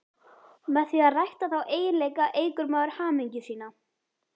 Með því að rækta þá eiginleika eykur maður hamingju sína.